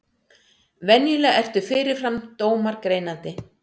Venjulega eru fyrirfram dómar greinandi.